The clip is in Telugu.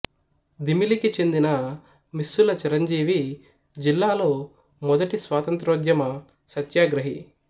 దిమిలికి చెందిన మిస్సుల చిరంజీవి జిల్లాలో మొదటి స్వాతంత్ర్యోద్యమ సత్యాగ్రహి